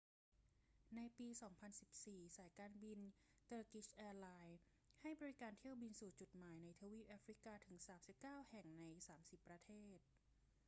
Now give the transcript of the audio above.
ในปี 2014 สายการบินเตอร์กิชแอร์ไลน์ให้บริการเที่ยวบินสู่จุดหมายในทวีปแอฟริกาถึง 39 แห่ง ใน 30 ประเทศ